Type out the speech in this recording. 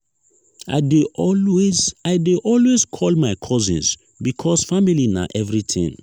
i dey always i dey always call my cousins because family na everytin